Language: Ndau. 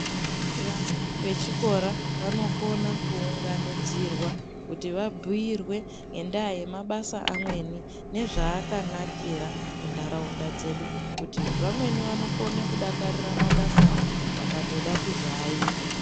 Vana vechikora vanokona kuunganidzirwa, kuti vabhuyirwe ngendaa yemabasa amweni nezvaakanakira muntaraunda dzedu, nekuti vamweni vanokone kudakarira mabasawo, vakatoda kuzoaita.